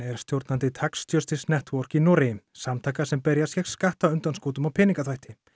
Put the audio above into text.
er stjórnandi tax Justice Network í Noregi samtaka sem berjast gegn skattaundanskotum og peningaþvætti